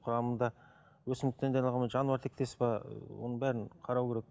құрамында өсімдіктен дайындалған ба жануар тектес пе оның бәрін қарау керек